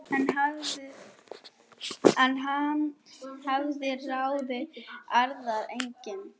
En hann hafði ráðið aðra einnig.